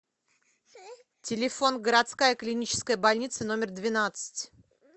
телефон городская клиническая больница номер двенадцать